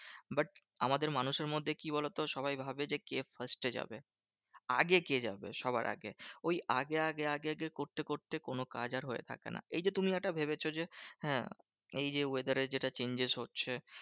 But আমাদের মানুষের মধ্যে কি বলতো? সবাই ভাবে যে কে first এ যাবে? আগে কে যাবে সবার আগে? ওই আগে আগে আগে আগে করতে করতে কোনো কাজ আর হয়ে থাকে না। এই যে তুমি একটা ভেবেছো যে, হ্যাঁ এই যে weather এর যেটা changes হচ্ছে